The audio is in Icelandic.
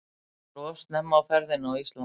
Hann var of snemma á ferðinni á Íslandi.